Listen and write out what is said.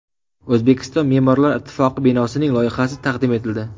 O‘zbekiston me’morlar ittifoqi binosining loyihasi taqdim etildi .